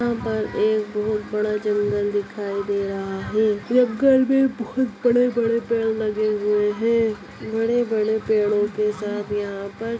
यहाँ पर एक बहुत बड़ा जंगल दिखाई दे रहा है जंगल में बहुत बड़े-बड़े पेड़ लगे हुए हैं बड़े-बड़े पेड़ों के साथ यहाँ पर--